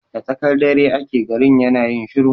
Da tsakar dare ake garin yana yin shiru